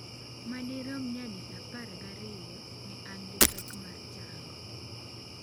Madirom nyadi apar ga ariyo ne an gi pek mar chango.